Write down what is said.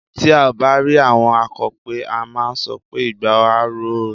Tí à bá rí àwọn akọ̀pẹ, a máà sọ pé "igba á ro o".